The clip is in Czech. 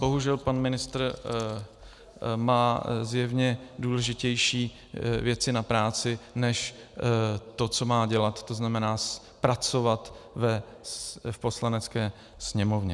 Bohužel pan ministr má zjevně důležitější věci na práci než to, co má dělat, to znamená pracovat v Poslanecké sněmovně.